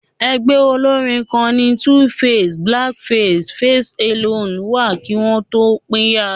Ẹgbẹ́ olórín kan ni 2face, Black Face àti Face Alone wà kí wọn tó pínyà